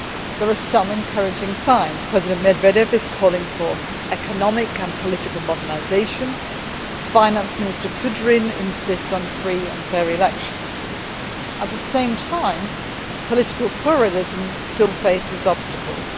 There are some encouraging signs President Medvedev is calling for economic and political modernisation, and Finance Minister Kudrin insists on free and fair elections. At the same time, political pluralism still faces obstacles.